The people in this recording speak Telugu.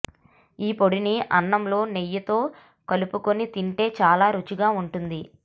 ఈ పొడిని అన్నంలో నెయ్యితో కలుపుకొని తింటే చాలా రుచిగా ఉంటుంది